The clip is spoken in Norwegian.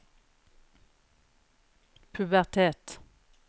pubertet